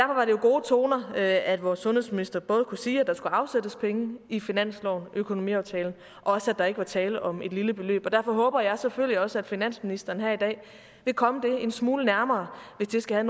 jo gode toner at at vores sundhedsminister både kunne sige at der skulle afsættes penge i finanslovens økonomiaftale og også at der ikke var tale om et lille beløb derfor håber jeg selvfølgelig også at finansministeren her i dag vil komme det en smule nærmere hvis det skal